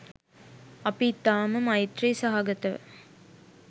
අපි ඉතාම මෛත්‍රී සහගතව